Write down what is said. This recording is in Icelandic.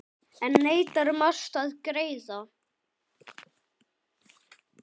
Enn neitar Mast að greiða.